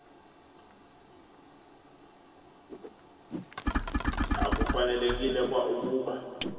akufanelekile kwa ukuba